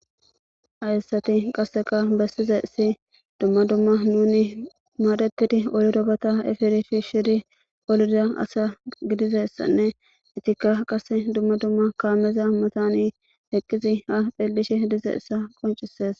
hayssati qasseka bessizaysi dumma dumma nuni maadetidi olirobata efirifi shiri olida asa gidizessanne itikka qase dumma dumma kaameza matani heqqizi ha phillishi dizayissa qoncises